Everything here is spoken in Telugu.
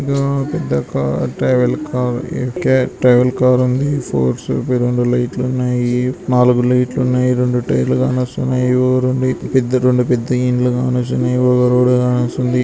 ఇదో పెద్ద car travel car travel car ఉంది ఫోర్సు వి రొండు లైట్లు ఉన్నాయి నాలుగు లైట్లున్నాయి రొండు టైర్లు కానొస్తున్నాయి యోరుండి పెద్ద రొండు పెద్ద ఇండ్లు కానొస్తున్నాయి ఒక రోడ్డు కానొస్తుంది.